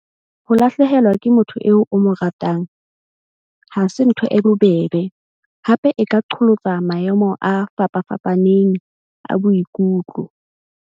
Ho lahlehelwa ke motho eo o mo ratang ha se ntho e bobebe, hape e ka qholotsa maemo a fapafapaneng a boikutlo.